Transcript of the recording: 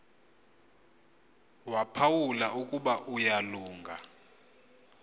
waphawula ukuba uyalunga